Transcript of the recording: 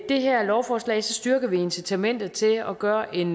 det her lovforslag styrker vi incitamentet til at gøre en